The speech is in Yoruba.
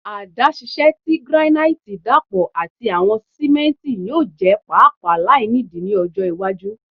Adaṣiṣẹ ti granite dapọ ati awọn simenti yoo jẹ paapaa lainidi ni ọjọ iwaju